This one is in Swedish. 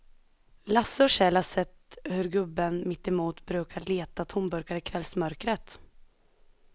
Lasse och Kjell har sett hur gubben mittemot brukar leta tomburkar i kvällsmörkret.